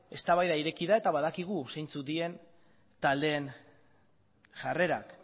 eztabaida ireki da eta badakigu zeintzuk diren taldeen jarrerak